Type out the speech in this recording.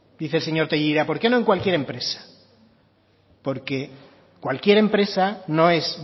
dice el señor tellería por qué no en cualquier empresa porque cualquier empresa no es